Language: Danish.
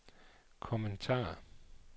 kommentarer